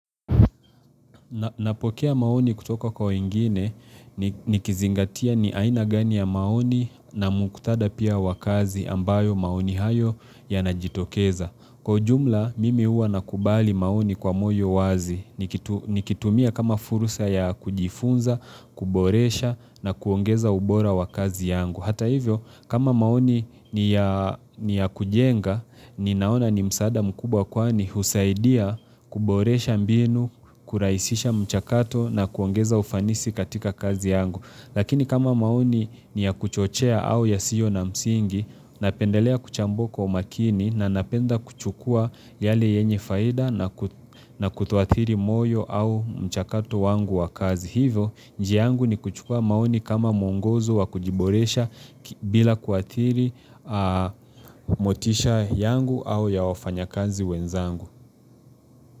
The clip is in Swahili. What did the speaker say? Napokea maoni kutoka kwa wengine nikizingatia ni aina gani ya maoni na mukthadha pia wakazi ambayo maoni hayo yanajitokeza. Kwa ujumla mimi huwa nakubali maoni kwa moyo wazi. Nikitumia kama fursa ya kujifunza, kuboresha na kuongeza ubora wakazi yangu. Hata hivyo, kama maoni ni ya kujenga, ninaona ni msaada mkubwa kwani husaidia kuboresha mbinu, kurahisisha mchakato na kuongeza ufanisi katika kazi yangu. Lakini kama maoni ni ya kuchochea au yasio na msingi, napendelea kuchambua kwa umakini na napenda kuchukua yale yenye faida na kutoathiri moyo au mchakato wangu wa kazi. Hivyo, njia yangu nikuchukua maoni kama mwongozo wa kujiboresha bila kuathiri motisha yangu au ya wafanya kazi wenzangu.